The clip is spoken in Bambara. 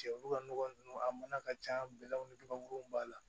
Cɛ olu ka nɔgɔ ninnu a mana ka ca bɛlɛw ni gabakuru b'a la